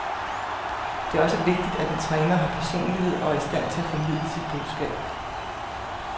Det er også vigtigt, at en træner har personlighed og er i stand til at formidle sit budskab.